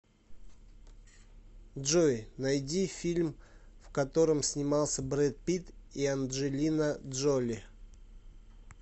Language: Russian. джой найди фильм в котором снимался бред пит и анджелина джоли